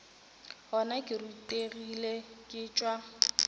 gona ke rutegile ke tšwa